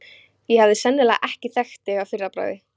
Ég hefði sennilega ekki þekkt þig að fyrra bragði.